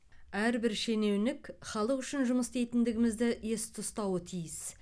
әрбір шенеунік халық үшін жұмыс істейтіндігімізді есте ұстауы тиіс